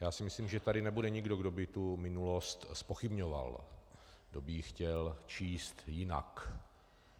Já si myslím, že tady nebude nikdo, kdo by tu minulost zpochybňoval, kdo by ji chtěl číst jinak.